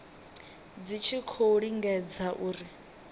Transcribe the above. dzi tshi khou lingedza uri